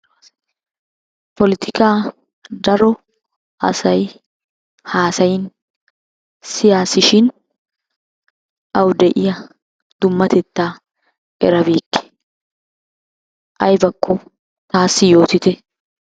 Polettika daro asay haasayin siyaas shin awu de'iyaa dummatetta erabeyikke aybakko taasi yootitte.